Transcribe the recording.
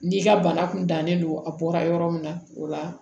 N'i ka bana kun dannen don a bɔra yɔrɔ min na o la